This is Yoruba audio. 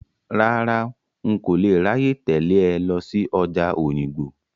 Rárá, n kò lè ráyè tẹ̀lé ẹ lọ sí ọjà Òyìngbò.